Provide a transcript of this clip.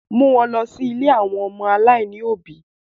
Mú wọn lọ̀ ilé àwọn ọmọ aláìní òbí!